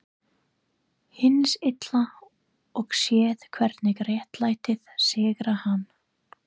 Hins Illa og séð hvernig réttlætið sigrar hann.